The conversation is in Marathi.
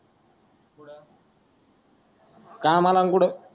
कामाला मंग कुठे